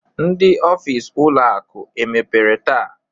Ndị ọfịs ụlọ akụ emepere taa?